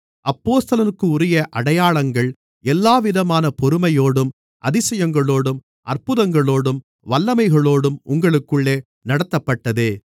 அப்போஸ்தலனுக்குரிய அடையாளங்கள் எல்லாவிதமான பொறுமையோடும் அதிசயங்களோடும் அற்புதங்களோடும் வல்லமைகளோடும் உங்களுக்குள்ளே நடத்தப்பட்டதே